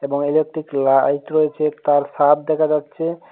একটি লাইট রয়েছে তার ছাপ দেখা যাচ্ছে।